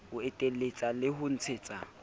ho eteletsa le ho ntshetsa